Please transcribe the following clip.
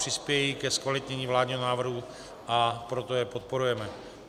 Přispějí ke zkvalitnění vládního návrhu, a proto je podporujeme.